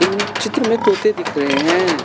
चित्र में तोते दिख रहे हैं।